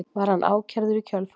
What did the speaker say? Var hann ákærður í kjölfarið